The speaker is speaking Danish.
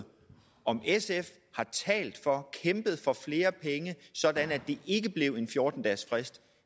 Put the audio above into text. om sf har talt for og kæmpet for flere penge sådan at det ikke blev en fjorten dagesfrist